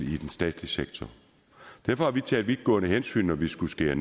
statslige sektor derfor har vi taget vidtgående hensyn når vi skulle skære